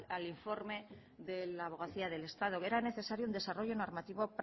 al informe de la abogacía del estado era necesario un desarrollo normativo